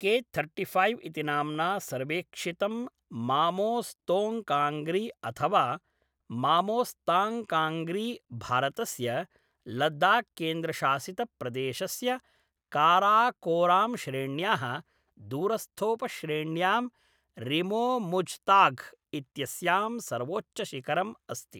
के thirty five इति नाम्ना सर्वेक्षितं मामोस्तोङ्ग्काङ्ग्री अथवा मामोस्ताङ्ग्काङ्ग्री, भारतस्य लद्दाख्केन्द्रशासितप्रदेशस्य काराकोराम्श्रेण्याः दूरस्थोपश्रेण्यां रिमोमुज़्ताघ् इत्यस्यां सर्वोच्चशिखरम् अस्ति।